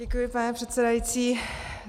Děkuji, pane předsedající.